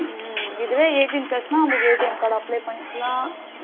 உம் இதுவே eighteen plus னா நமக்கு ATM apply பண்ணிக்கலாம்.